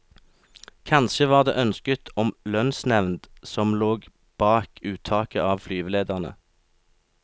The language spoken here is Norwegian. Kanskje var det ønsket om lønnsnevnd som lå bak uttaket av flyvelederne.